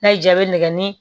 N'a y'i jaabi nɛgɛ ɲini